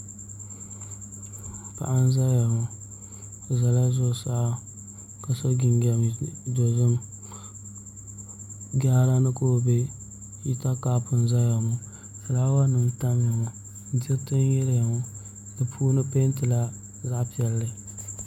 Paɣa n ʒɛya ŋo o ʒɛla zuɣusaa ka so jinjɛm dozim jaara ni ka o bɛ hita kaap n ʒɛya ŋo fulaawa nim n tamya ŋo diriti n yiliya ŋo di puuni peentila zaɣ piɛlli